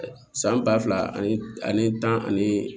San ba fila ani tan ani